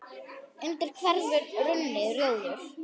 undir hverfur runni, rjóður